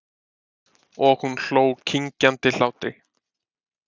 Og hún hló klingjandi hlátri.